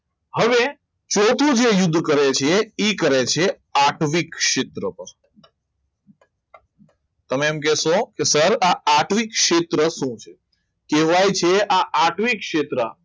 હવે ચોથું જે યુદ્ધ કરે છે એ કરે છે આત્વિક સિદ્રકો તમે એમ કહેશો કે સર આ આત્વિક સિદ્રકો શું છે કહેવાય છે આ આત્વિક સિદ્રકો